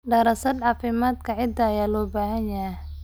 Daraasad caafimaadka ciidda ayaa loo baahan yahay.